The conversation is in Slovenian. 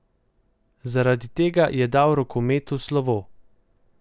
Zaradi tega je dal rokometu slovo.